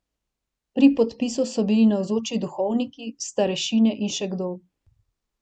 Pri podpisu so bili navzoči duhovniki, starešine in še kdo.